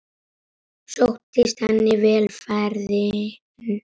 Sóttist henni vel ferðin.